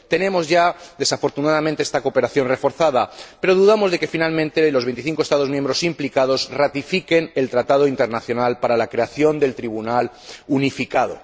Tenemos ya, desafortunadamente, esta cooperación reforzada, pero dudamos de que, finalmente, los veinticinco Estados miembros implicados ratifiquen el acuerdo internacional para la creación del Tribunal unificado.